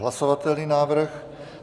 Hlasovatelný návrh.